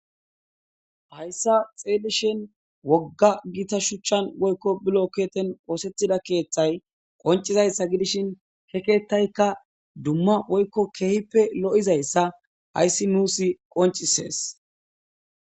Hayssa xeedishen wogga gita shuchchan woykko bilo keeten oosetida keeththay qoncizayssa gidishin he ketaykka dumma woykko keehippe lo7izayssa hayssi nuus qoncisees.